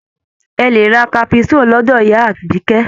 Ẹ lè ra caprisonne lọ́dọ̀ ìyá Àbíkẹ́.